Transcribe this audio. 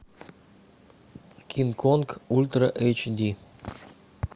кинг конг ультра эйч ди